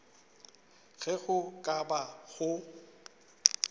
ge go ka ba go